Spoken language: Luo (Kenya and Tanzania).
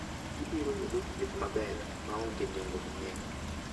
Ibiro yudo thieth maber maonge nengo mang'eny.